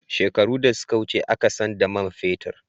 Shekaru da suka wuce a ka san da man fetir